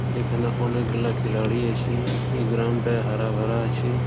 এখানে অনেক লোক দাঁড়িয়ে আছে। এই গ্রাউন্ডটা হারা ভরা আছে।